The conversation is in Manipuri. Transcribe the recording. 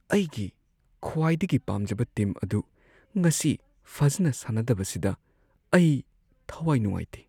ꯑꯩꯒꯤ ꯈ꯭ꯋꯥꯏꯗꯒꯤ ꯄꯥꯝꯖꯕ ꯇꯤꯝ ꯑꯗꯨ ꯉꯁꯤ ꯐꯖꯅ ꯁꯥꯟꯅꯗꯕꯁꯤꯗ ꯑꯩ ꯊꯋꯥꯏ ꯅꯨꯡꯉꯥꯏꯇꯦ꯫